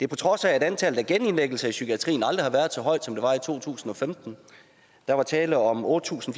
på trods af at antallet af genindlæggelser i psykiatrien aldrig har været så højt som det var i to tusind og femten der var tale om otte tusind